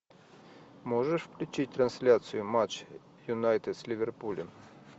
можешь включить трансляцию матч юнайтед с ливерпулем